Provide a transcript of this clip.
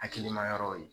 Hakilina yɔrɔw ye